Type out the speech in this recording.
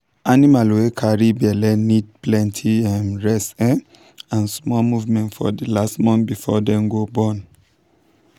animal wey carry belle need plenty um rest um and small movement for the last month before dem go born.